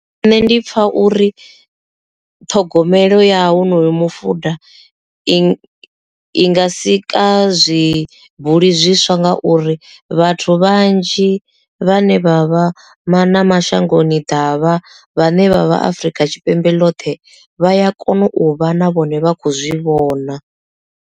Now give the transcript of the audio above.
Nṋe ndi pfha uri ṱhogomelo ya honoyo mufuḓa i i nga sika zwibuli zwiswa nga uri vhathu vhanzhi vhane vha vha na mashangoni ḓavha vhane vhavha afrika tshipembe ḽoṱhe vha ya kona u vha na vhone vha khou zwi vhona.